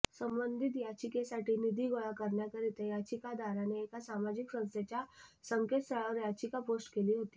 संबंधित याचिकेसाठी निधी गोळा करण्याकरीता याचिकादाराने एका सामाजिक संस्थेच्या संकेतस्थळावर याचिका पोस्ट केली होती